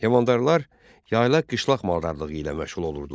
Heyvandarlar yaylaq-qışlaq maldarlığı ilə məşğul olurdular.